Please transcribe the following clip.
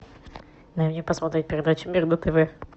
дай мне посмотреть передачу мир на тв